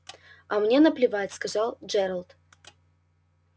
а мне наплевать сказал джералд